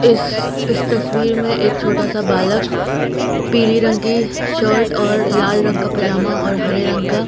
इस इस तस्वीर में एक छोटा सा बालक पीली रंग की शर्ट और लाल रंग का पजामा और हरे रंग का--